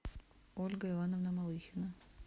ольга ивановна малыхина